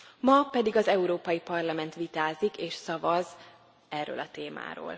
Ma pedig az Európai Parlament vitázik és szavaz erről a témáról.